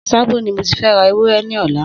Sábó ni mó ti fẹ̀ rà éwùrẹ̀ lọlá